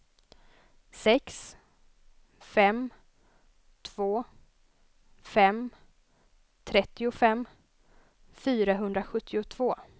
sex fem två fem trettiofem fyrahundrasjuttiotvå